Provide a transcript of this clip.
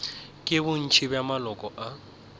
ke bontši bja maloko a